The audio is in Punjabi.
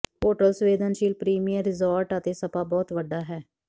ਹੋਟਲ ਸੰਵੇਦਨਸ਼ੀਲ ਪ੍ਰੀਮੀਅਮ ਰਿਜ਼ੌਰਟ ਅਤੇ ਸਪਾ ਬਹੁਤ ਵੱਡਾ ਹੈ